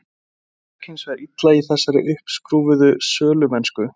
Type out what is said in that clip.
Mér gekk hins vegar illa í þessari uppskrúfuðu sölumennsku.